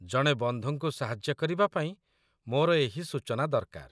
ଜଣେ ବନ୍ଧୁଙ୍କୁ ସାହାଯ୍ୟ କରିବା ପାଇଁ ମୋର ଏହି ସୂଚନା ଦରକାର।